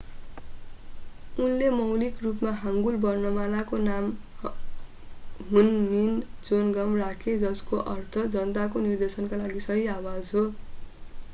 उनले मौलिक रूपमा हाङ्गुल वर्णमालाको नाम हुनमिन जोनगम राखे जसको अर्थ जनताको निर्देशनका लागि सही आवाज हो